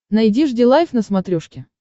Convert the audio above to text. найди жди лайв на смотрешке